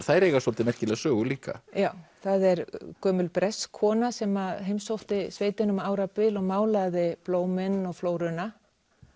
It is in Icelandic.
þær eiga svolítið merkilega sögu líka já það er gömul bresk kona sem heimsótti sveitina um árabil og málaði blómin og flóruna